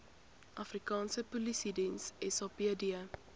afrikaanse polisiediens sapd